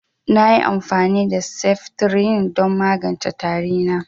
Nayi amfani da seftirin don magance tari na